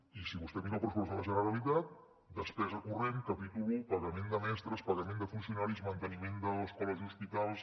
i si vostè mira el pressupost de la generalitat despesa corrent capítol un pagament de mestres pagament de funcionaris manteniment d’escoles i hospitals